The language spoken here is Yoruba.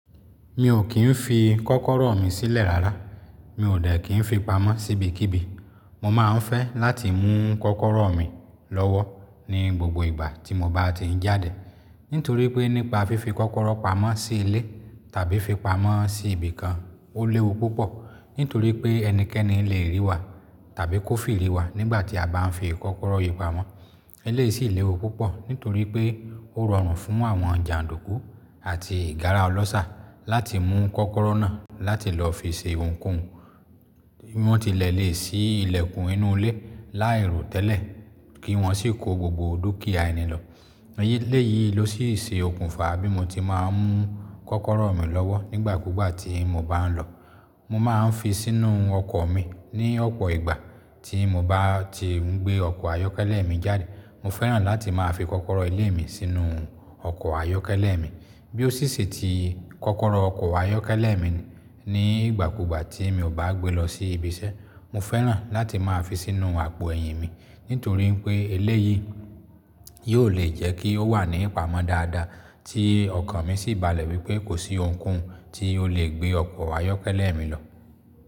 Mi ò kí ń fi kọ́kọ́rọ́ mi sílẹ̀ rárá. Mi ò dẹ̀ kí ń fi pamọ́ síbikíbi. Mo máa ń fẹ́ láti mú kọ́kọ́rọ́ mi lọ́wọ́ ní gbogbo ìgbà tí mo bá ti ń jáde. Nítorí pé nípa fífi kọ́kọ́rọ́ pamọ́ sí ilé tàbí fi pamọ́ sí ibìkan ó léwu púpọ̀. Nítorí pé ẹnikẹ́ni lè ríi wa tàbí kó firi wa nígbà tí a bá ń fi kọ́kọ́rọ́ yìí pamọ́. Eléyìí sì léwu púpọ̀ nítorí pé ó rọrùn fún àwọn jàndùkú àti ìgárá ọlọ́ṣà láti mú kọ́kọ́rọ́ náà láti lọ fi ṣe ohunkóhun. Wọ́n ti lẹ̀ lè sí ilẹ̀kùn inú ilé láì ro tẹ́lẹ̀ kí wọ́n sì kó gbogbo dúkìá ẹni lọ. Eléyìí ló sì ṣe okùnfà bí mo ti máa ń mú kọ́kọ́rọ́ mi lọ́wọ́ nígbà kúgbà tí mo bá ń lọ. Mo máa ń fi sínú ọkọ̀ mi ní ọ̀pọ̀ ìgbà tí mo bá ti ń gbé ọkọ̀ ayọ́kẹ́lẹ́ mi jáde. Mo fẹ́ràn láti máa fi kọ́kọ́rọ́ ilé mi sínú ọkọ̀ ayọ́kẹ́lẹ́ mi. Bí ó sì ṣe ti kọ́kọ́rọ́ ọkọ̀ ayọ́kẹ́lẹ́ mi ní ìgbà kúgbà tí mi ò bá gbé lọ sí ibi iṣẹ́, mo fẹ́ràn láti máa fi sínú àpò ẹ̀yìn mi. Nítorí pé eléyìí yóò le jẹ́ kí ó wà ní ìpamọ́ dáadáa tí ọkan mi sì balẹ̀ wípé kò sí ohunkóhun tí ó lè gbé ọkọ̀ ayọ́kẹ́lẹ́ mi lọ.